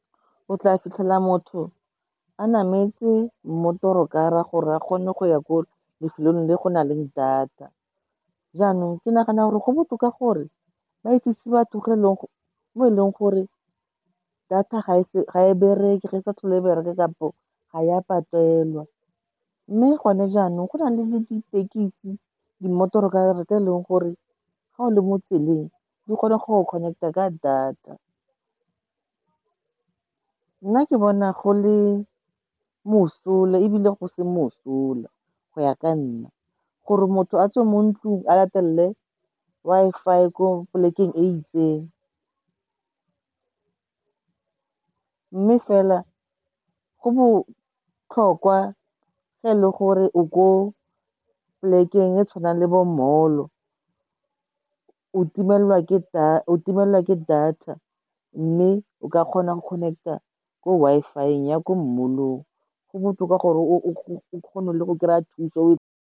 O tla fitlhela motho a nametse motorkara, gore a kgone go ya ko lefelong le go na leng data. Jaanong, ke nagana gore go botoka gore ba itsise batho mo e leng gore, data ga e bereke, re sa tlhole e bereke kapo ga ya patelwa. Mme gone jaanong, go na le le ditekisi di motorokara tse eleng gore ga o le mo tseleng di kgona go connect a ka data. Nna ke bona go le mosola ebile go se mosola, go ya ka nna, gore motho a tswe mo ntlung a latelele Wi-Fi ko polekeng e itseng, mme fela go botlhokwa e le gore o ko polekeng e tshwanang le bo mmemogolo o dimela ke dutch o dimela ke data mme o ka kgona go connect a ko Wi-Fi ya ko molong, go botoka gore o kgone go kry-a thuso .